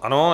Ano.